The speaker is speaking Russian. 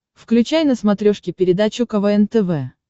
включай на смотрешке передачу квн тв